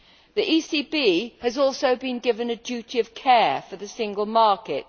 The ECB has also been given a duty of care for the single market.